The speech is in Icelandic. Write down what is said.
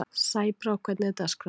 Sæbrá, hvernig er dagskráin í dag?